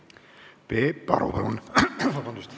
Peep Aru, palun!